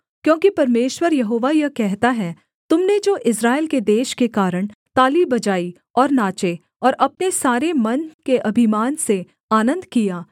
क्योंकि परमेश्वर यहोवा यह कहता है तुम ने जो इस्राएल के देश के कारण ताली बजाई और नाचे और अपने सारे मन के अभिमान से आनन्द किया